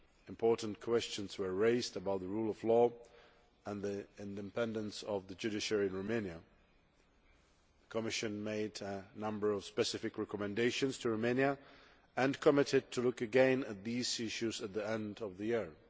important questions were raised about the rule of law and the independence of the judiciary in Romania. The Commission made a number of specific recommendations to Romania and undertook to look again at these issues at the end of the year.